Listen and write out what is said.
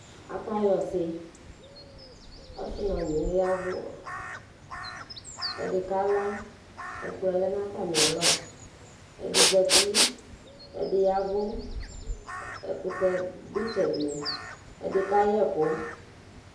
Aka yɔ ɔsi ɔsi nu ɔnyi yavu ɛdi kala ɛkplɔ lɛ nu atami alɔ ɛdi zati ɛdi yavu ɛkutɛ du itsɛdi ɛdi ka yɛ ɛku